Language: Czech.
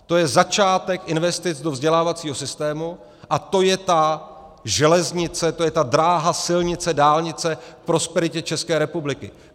To je začátek investic do vzdělávacího systém a to je ta železnice, to je ta dráha, silnice, dálnice k prosperitě České republiky.